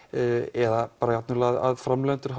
eða bara að framleiðendur